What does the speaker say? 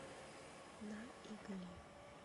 на игле